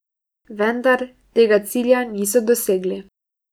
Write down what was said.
Vendar, tega cilja niso dosegli.